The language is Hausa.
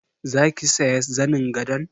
Zaki siya zanin gadon?